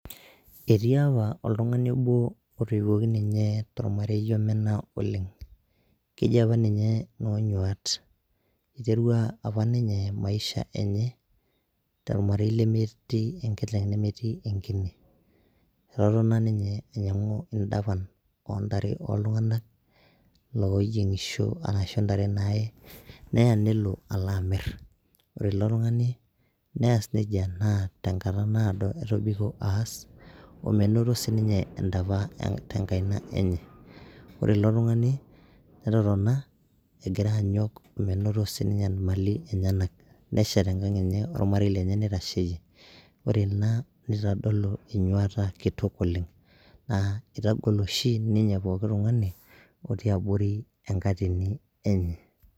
Etii apa oltungani onbo otoiuwuoki ninye tolmarei obo apa omena oleng, keji apa ninye Noonyuat. Eiterua apa ninye maisha enye tolmarei lemetii enkiteng nemetii enkine. Etotona ninye ainyangu indapan oontare ooltungana looyiengisho aashu ntare naaye naa nelo alo amirr. Ore ilo tungani naa neas nejia tenkata naado omenoto sii ninye entapa tenang enye . Ore ilo tungani netotona egira anyok omenoto sii ninye mali enyanak neshet enkang enye olmarei lenye neitasheyie. Ore ina neitodolu enyuata kitok oleng naa eitagol oshi ninye pooki tungani otii aborri enkatini enye.